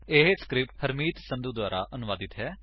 ਇਹ ਸਕਰਿਪਟ ਹਰਮੀਤ ਸੰਧੂ ਦੁਆਰਾ ਅਨੁਵਾਦਿਤ ਹੈ